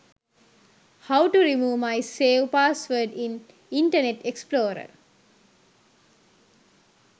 how to remove my save password in internet explorer